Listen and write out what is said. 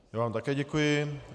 Já vám také děkuji.